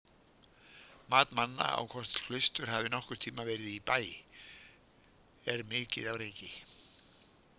Mat manna á hvort klaustur hafi nokkurn tímann verið í Bæ er mikið á reiki.